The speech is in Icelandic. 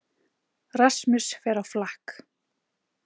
Rasmus fer á flakk